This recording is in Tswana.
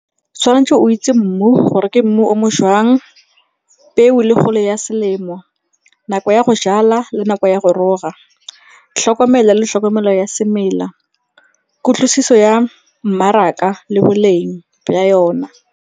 Tshwanetse o itse mmu gore ke mmu o mo jang. Peo le kgolo ya selemo, nako ya go jala le nako ya go roga. Tlhokomela le tlhokomelo ya semela, kutlwisiso ya mmaraka le boleng ya yona.